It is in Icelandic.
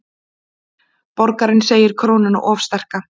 Borgarinn segir krónuna of sterka